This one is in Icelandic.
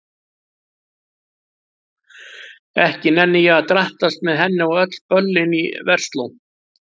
Ekki nenni ég að drattast með henni á öll böllin í Versló.